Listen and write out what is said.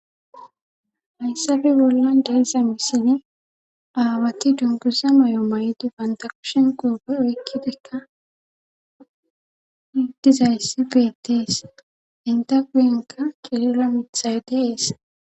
hayssppe bollan de'iya misilen aawati dungusa moy7o may7idi bantakushen kuupe oykkidekka hiddizayssi beettees inta guyenka kilila mithay deees